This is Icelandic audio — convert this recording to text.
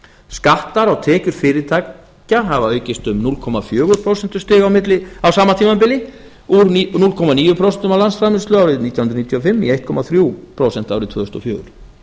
skattar á tekjur fyrirtækja hafa aukist um núll komma fjögur prósentustig á sama tímabili úr núll komma níu prósent af landsframleiðslu árið nítján hundruð níutíu og fimm í eitt komma þrjú árið tvö þúsund og fjögur